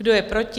Kdo je proti?